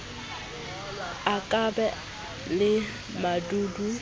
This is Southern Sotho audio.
a ka ba le badudi